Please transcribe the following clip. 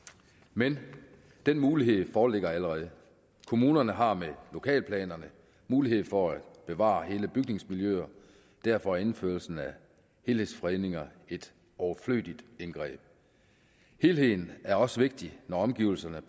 men den mulighed foreligger allerede kommunerne har med lokalplanerne mulighed for at bevare hele bygningsmiljøer og derfor er indførelsen af helhedsfredninger et overflødigt indgreb helheden er også vigtig når omgivelserne